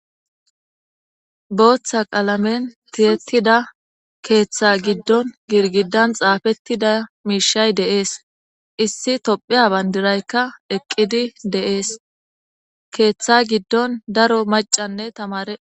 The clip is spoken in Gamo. Booththa qaalamen tiyettida keeththa giddon girgidan xaafettida miishay deees issi tophiya bandiraykka eqqidi deees keeththa giddon daro macanne tamare.